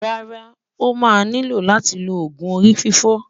rárá, ọ̀ má ní ló láti ló ògún orí-fífọ́